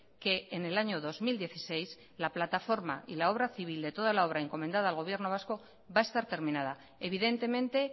que en el año dos mil dieciséis la plataforma y la obra civil de toda la obra encomendada al gobierno vasco va a estar terminada evidentemente